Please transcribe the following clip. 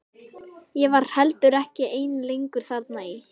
Ég var heldur ekki ein lengur þarna í